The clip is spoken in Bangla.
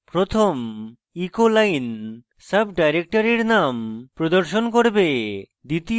প্রথম echo line সাবdirectories name প্রদর্শন করবে